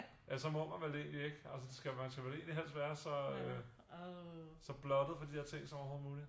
Ja så må man vel egentligt ikke altså skal man så vel egentligt ikke helst være så blottet for de der ting som overhovedet muligt